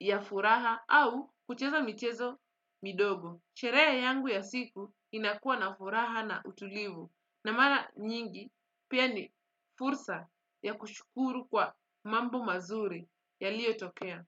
ya furaha au, kucheza mchezo midogo. Sheree yangu ya siku, inakua na furaha na utulivu. Na mara nyingi, pia, ni fursa, ya kushukuru kwa mambo mazuri, yaliotokea.